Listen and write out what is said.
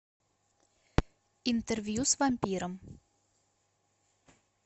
интервью с вампиром